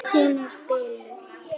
Hún er biluð!